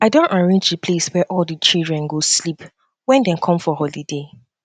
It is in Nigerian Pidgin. i don arrange the place wey all the children go sleep wen um dem come for holiday um